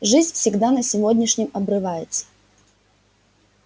жизнь всегда на сегодняшнем обрывается